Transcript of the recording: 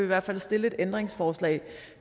hvert fald stille et ændringsforslag